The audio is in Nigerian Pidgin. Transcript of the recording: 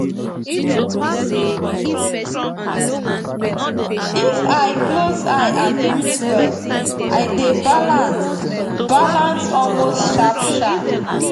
if i close eye and breathe well i dey balance balance almost sharpsharp